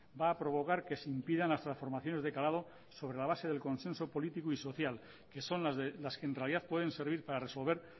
va a provocar que se impidan las transformaciones de calado sobre la base del consenso político y social que son las que en realidad pueden servir para resolver